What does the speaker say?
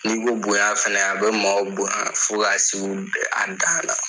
N'i ko bonya fɛnɛ a bɛ maaw bonya fo ka seu an dan na.